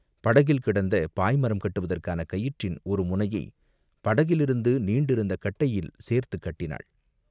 படகில் கிடந்த பாய்மரம் கட்டுவதற்கான கயிற்றின் ஒரு முனையைப் படகிலிருந்து நீண்டிருந்த கட்டையில் சேர்த்துக் கட்டினாள்.